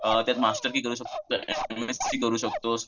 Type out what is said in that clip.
त्यात मास्तरकी करू शकतोस एम एस सी करू शकतोस.